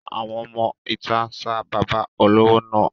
Àwọn ọmọ ìta ń sa bàbá olówó náà.